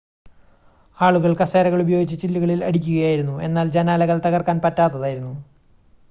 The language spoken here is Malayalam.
ആളുകൾ കസേരകൾ ഉപയോഗിച്ച് ചില്ലുകളിൽ അടിക്കുകയായിരുന്നു എന്നാൽ ജനാലകൾ തകർക്കാൻ പറ്റാത്തതായിരുന്നു